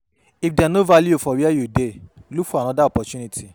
If dem no value you for where you dey, look for oda opportunity